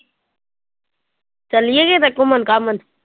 ਚੱਲੀਏ ਕਿਤੇ ਘੁੰਮਣ ਘਾਮਣ?